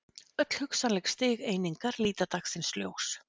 Öll hugsanleg stig einingar líta dagsins ljós.